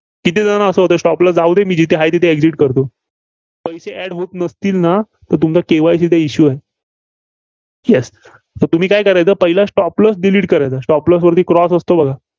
किती जणांना असं होतंय? stop loss जाऊ दे. मी जिथे आहे, तिथं Exit करतो. पैसे add होत नसतील ना, तर तुमचा KYC चा issue आहे. Yes तर तुम्ही काय करायचं, पहिला stop loss delete करायचा, Stop loss वरती Cross असतो बघा.